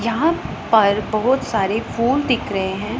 यहां पर बहुत सारे फूल दिख रहे हैं।